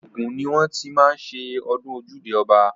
Ògùn ni wọ́n ti má ń ṣe ọdún ojúde ọba.